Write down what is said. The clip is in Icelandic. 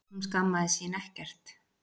Hún skammaðist sín ekkert.